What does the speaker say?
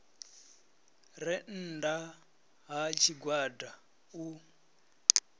re nnda ha tshigwada u